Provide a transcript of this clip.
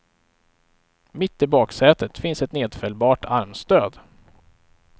Mitt i baksätet finns ett nedfällbart armstöd.